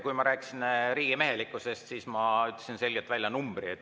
Kui ma rääkisin riigimehelikkusest, siis ma ütlesin selgelt välja numbri.